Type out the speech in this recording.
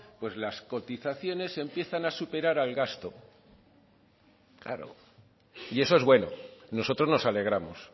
pues las cotizaciones empiezan a superar al gasto claro y eso es bueno nosotros nos alegramos